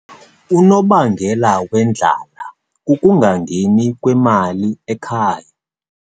Unobangela wendlala kukungangeni kwemali ekhaya.